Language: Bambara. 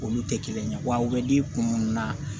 Olu tɛ kelen ye wa u bɛ di kun mun na